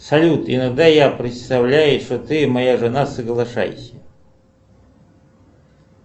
салют иногда я представляю что ты моя жена соглашайся